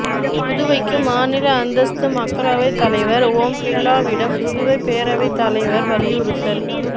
புதுவைக்கு மாநில அந்தஸ்து மக்களவை தலைவா் ஓம் பிா்லாவிடம் புதுவை பேரவைத் தலைவா் வலியுறுத்தல்